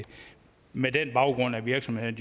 med det som baggrund at virksomhederne